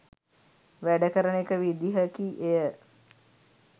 වැඩ කරන එක විදිහකි එය.